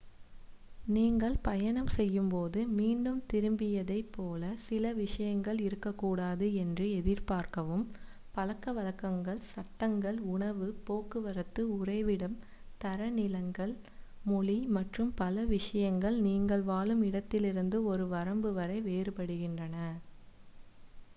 "நீங்கள் பயணம் செய்யும்போது ​​""மீண்டும் திரும்பியதை" போல சில விஷயங்கள் இருக்கக்கூடாது என்று எதிர்பார்க்கவும். பழக்கவழக்கங்கள் சட்டங்கள் உணவு போக்குவரத்து உறைவிடம் தரநிலைகள் மொழி மற்றும் பல விஷயங்கள் நீங்கள் வாழும் இடத்திலிருந்து ஒரு வரம்பு வரை வேறுபடுகின்றன.